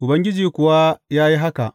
Ubangiji kuwa ya yi haka.